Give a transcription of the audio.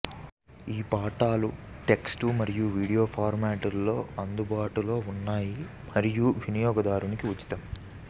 ఈ పాఠాలు టెక్స్ట్ మరియు వీడియో ఫార్మాట్లలో అందుబాటులో ఉన్నాయి మరియు వినియోగదారునికి ఉచితం